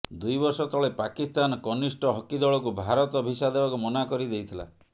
ଦୁଇବର୍ଷ ତଳେ ପାକିସ୍ତାନ କନିଷ୍ଠ ହକି ଦଳକୁ ଭାରତ ଭିସା ଦେବାକୁ ମନା କରିଦେଇଥିଲା